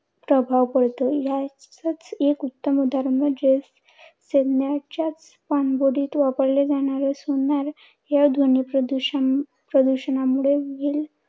प्रभाव पडतो. याचच एक उत्तम उदाहरण म्हणजेच सैन्याच्या पाणबुडीत वापरले जाणारे sonar ह्या ध्वनी प्रदूषण प्रदूषणामुळे व्हेल